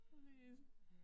Præcis